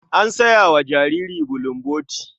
An saya wa jariri bulomboti.